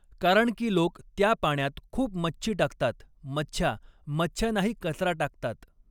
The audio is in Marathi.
कारण की लोक त्या पाण्यात खूप मच्छी टाकतात मछ्या मछ्या नाही कचरा टाकतात.